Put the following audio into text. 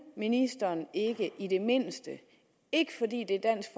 ministeren ikke i det mindste ikke fordi det er dansk